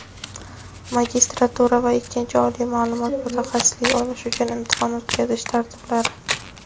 magistratura va ikkinchi oliy ma’lumot (mutaxassislik) olish uchun imtihon o‘tkazish tartiblari.